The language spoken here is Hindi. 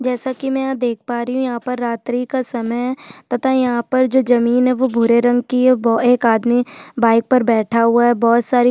जैसा की मै यहाँ देख पा रही हू यहाँ पर रात्रि का समय है तथा है यहाँ पर जो जमीन है वो भुरे रंग कि है और बो एक आदमी बाईक पर बैठा हुआ है बहोत सारी--